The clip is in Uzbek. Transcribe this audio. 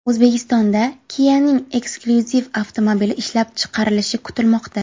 O‘zbekistonda Kia’ning eksklyuziv avtomobili ishlab chiqarilishi kutilmoqda.